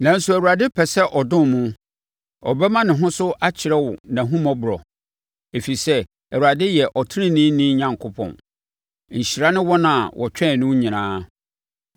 Nanso, Awurade pɛ sɛ ɔdom mo; ɔbɛma ne ho so akyerɛ wo nʼahummɔborɔ. Ɛfiri sɛ Awurade yɛ ɔteneneeni Onyankopɔn. Nhyira ne wɔn a wɔtwɛn no nyinaa!